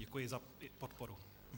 Děkuji za podporu.